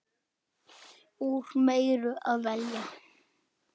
Úr meiru að velja!